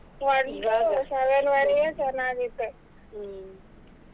One to seven ವರೆಗೆ ಚೆನ್ನಾಗಿತ್ತು.